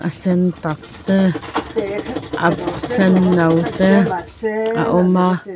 a sen tak te a senno te a awm a.